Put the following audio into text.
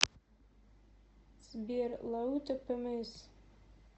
сбер лаута пмс